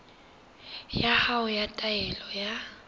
ya hao ya taelo ya